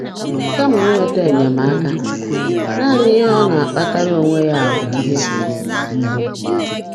Kama inweta enyemaka, naanị ihe ọ na-akpatara onwe ya bụ ihe mgbu.